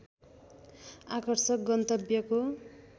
आकर्षक गन्तव्यको